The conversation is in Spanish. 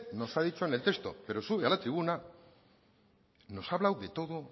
nos ha dicho en el texto pero sube a la tribuna nos ha hablado de todo